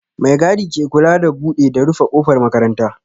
Mai gadi ke kula da buɗe da rufe ƙofar makaranta